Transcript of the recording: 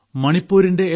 മണിപ്പൂരിന്റെ M